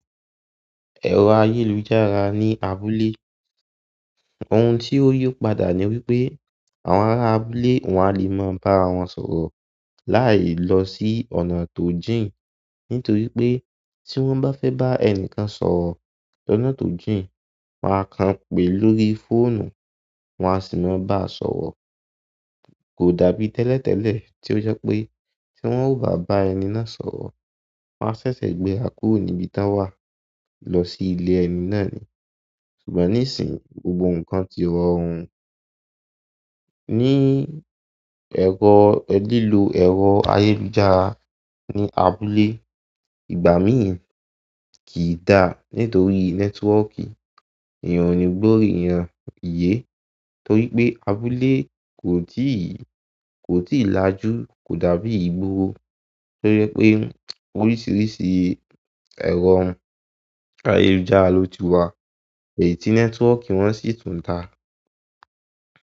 Ẹ̀rọ ayélujára ní abúlé, ohun tí ó yí padà ni wípé àwọn ará abúlé wọn á lè máa bára wọn sọ̀rọ̀ láì lọ sí ọ̀nà tó jìn nítorí pé tí wọ́n bá fẹ́ bá ẹni kan sọ̀rọ̀ lọ́nà tó jìn wọn a kàn pèé lórí fóònù, wọ́n á sì máa bá a sọ̀rọ̀. Kò dàbí tẹ́lẹ̀tẹ́lẹ̀ tí ó jẹ́ pé tí wọ́n ó bá bá ẹni náà sọ̀rọ̀, wọ́n á ṣẹ̀ṣẹ̀ gbéra kúrò níbi tán wà lọ sí ilé ẹni náà ni. Ṣùgbọ́n níìsín, gbogbo nǹkan ti rọrùn. Ní ẹ̀rọ lílo ẹ̀rọ ayélujára ní abúlé, ìgbà míì kìí dà nítorí nẹ́tíwọ́ọ̀kì ènìyàn ò ní gbọ́ ènìyàn iyé torí pé abúlé kò tíì, kò tíì lajú kò dà bí ìgboro tó jẹ́ pé oríṣìíríṣìí ẹ̀rọ ayélujára ló ti wà èyí tí nẹ́tíwọ́ọ̀kì wọn sì tún dáa.